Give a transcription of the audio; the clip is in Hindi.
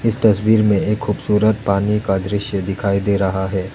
इस तस्वीर में एक खूबसूरत पानी का दृश्य दिखाई दे रहा है।